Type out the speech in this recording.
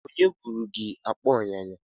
Onye buru gi akpa ulo unyanya?